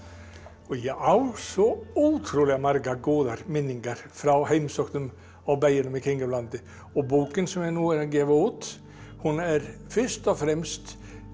og ég á svo ótrúlega margar góðar minningar frá heimsóknum á bæina í kringum landið og bókin sem ég er nú að gefa út hún er fyrst og fremst